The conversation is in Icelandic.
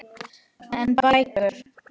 En bækur?